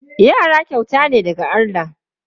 Yara kyauta ne daga Allah.